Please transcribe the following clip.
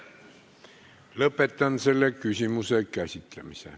Lõpetan selle küsimuse käsitlemise.